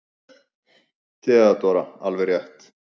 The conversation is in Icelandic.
THEODÓRA: Alveg rétt!